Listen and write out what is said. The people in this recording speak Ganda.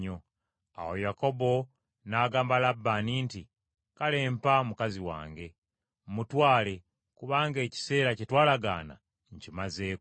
Awo Yakobo n’agamba Labbaani nti, “Kale mpa mukazi wange, mmutwale, kubanga ekiseera kye twalagaana nkimazeeko.”